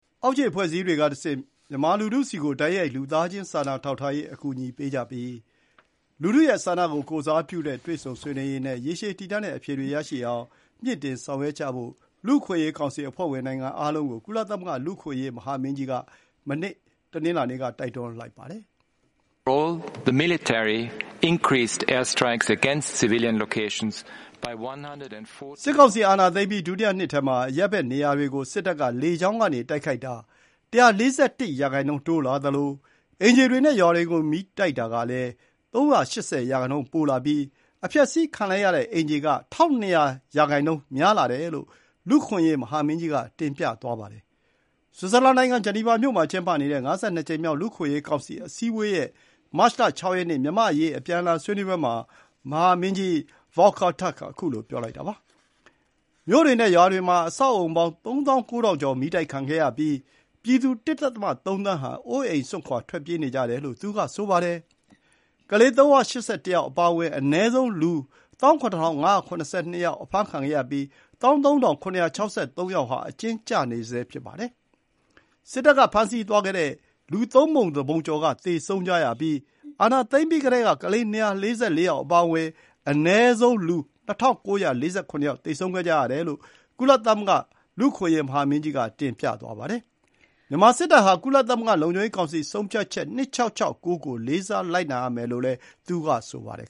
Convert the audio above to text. အောက်ခြေအဖွဲ့အစည်းတွေကတဆင့် မြန်မာလူထုဆီကို လူသားချင်းစာနာထောက်ထားရေးအကူအညီ တိုက်ရိုက်ပေးကြပြီး လူထုဆန္ဒကိုယ်စားပြုတဲ့ တွေ့ဆုံဆွေးနွေးရေးနဲ့ ရေရှည်တည်တံ့တဲ့အဖြေတွေရရှိအောင် မြှင့်တင်ဆောင်ရွက်ကြဖို့ ကောင်စီအဖွဲ့နိုင်ငံအားလုံးကို လူ့အခွင့်အရေး ကုလမဟာမင်းကြီးက တနင်္လာနေ့မှာ တိုက်တွန်းသွားပါတယ်။ စစ်ကောင်စီအာဏာသိမ်းပြီး ဒုတိယနှစ်ထဲမှာ အရပ်ဘက်နေရာတွေကို စစ်တပ် က လေကြောင်းကနေ တိုက်ခိုက်တာ ၁၄၁ ရာနှုန်းတိုးလာသလို အိမ်ခြေတွေနဲ့ ရွာတွေကို မီးတိုက်တာက ၃၈၀ ရာနှုန်းပိုလာပြီး အဖျက်ဆီးခံလိုက်ရတဲ့ အိမ်ခြေက ၁,၂၀၀ ရာနှုန်းများလာတယ်လို့ ကုလသမဂ္ဂမဟာမင်းကြီးက တင်ပြသွားပါတယ်။ ဆွစ်ဇာလန်နိုင်ငံ ဂျနီဗာမြို့မှာကျင်းပနေတဲ့ ၅၂ ကြိမ်မြောက် ကုလသမဂ္ဂလူ့အခွင့်အရေးကောင်စီ အစည်းအဝေးရဲ့ မတ်လ ၆ ရက်နေ့ မြန်မာ့အရေး အပြန်အလှန်ဆွေးနွေးပွဲမှာ မဟာမင်းကြီး Volker Türk က ခုလို ပြောလိုက်တာပါ။ မြို့တွေနဲ့ ရွာတွေမှာ အဆောက်အအုံပေါင်း ၃၉,၀၀၀ ကျော် မီးတိုက်ခံရပြီး ပြည်သူ ၁.၃ သန်းဟာ အိုးအိမ်စွန့်ခွါ ထွက်ပြေးနေကြတယ်လို့ သူက ဆိုပါတယ်။ ကလေး ၃၈၁ ယောက်အပါအဝင် အနည်းဆုံး လူ ၁၇,၅၇၂ ယောက် အဖမ်းခံခဲ့ရပြီး ၁၃,၇၆၃ ယောက်ဟာ အကျဉ်းကျနေကြဆဲ ဖြစ်ပါတယ်။ စစ်တပ်က ဖမ်းဆီးသွားတဲ့လူ သုံးပုံတပုံကျော် သေဆုံးကြရပြီး အာဏာသိမ်းပြီးကတည်းက ကလေး ၂၄၄ ယောက်အပါအဝင် အနည်းဆုံး လူ ၂,၉၄၇ ယောက် သေဆုံးခဲ့ကြရတယ်လို့ ကုလသမဂ္ဂ လူ့အခွင့်အရေးမဟာမင်းကြီးက တင်ပြသွားပါတယ်။ မြန်မာစစ်တပ်ဟာ ကုလသမဂ္ဂလုံခြုံရေးကောင်စီဆုံးဖြတ်ချက် ၂၆၆၉ ကို လေးစားလိုက်နာရမယ်လို့လည်း သူက ဆိုပါတယ်